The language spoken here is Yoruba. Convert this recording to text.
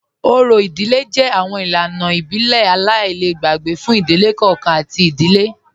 Ọ̀rì ìdílẹ̀ jẹ́ awọn ilànà ìbílẹ̀ aláìlẹ̀gbẹ̀ fún ìdílẹ̀ kọọ̀kan àti ìdílẹ̀